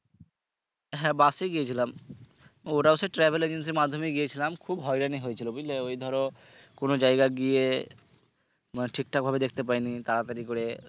হ্যাঁ বাসে গিয়েছিলাম ওটা হচ্ছে travel agency মাধ্যমে গিয়েছিলাম খুব হয়রানি হয়েছিলো বুঝলে ওই ধরো কোন জায়গা গিয়ে মানে ঠিকঠাক ভাবে দেখতে পাইনি তাড়াতাড়ি করে